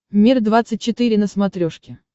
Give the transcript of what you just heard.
мир двадцать четыре на смотрешке